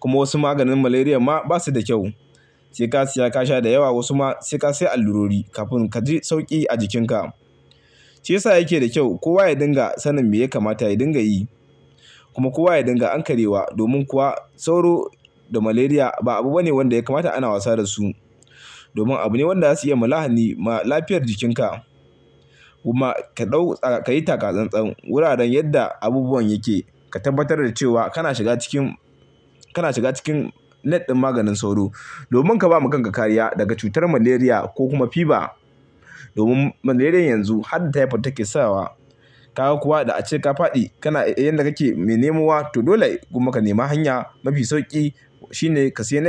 Kuma wasu maganin malaria ma basu da kyau. Sai ka siya ka sha da yawa wasu ma sai ka siya allurori kafin ka ji sauƙi a jikinka. Shi ya sa yake da kyau kowa ya dinga sanin me ya kamata ya dinga yi. Kuma kowa ya dinga hankali ma domin kuwa sauro da malaria ba abu bane wanda ya kamata ana wasa da su. Domin abu ne wanda zasu iya mulahani ma lafiyar jikin ka. Kuma ka ɗau, ka yi taka-tsan-tsan wuraren yadda abubuwan yake. Ka tabbatar da cewa kana shiga cikin, kana shiga cikin net ɗin maganin sauro. Domin ka ba ma kanka kariya daga cutar malaria ko kuma fever. Domin malaria yanzu har da typhoid take sawa. Kaga kuwa da ace ka faɗi kana yadda kake mai nemo wa to dole kuma ka nema hanya mafi sauƙi shine ka siya net.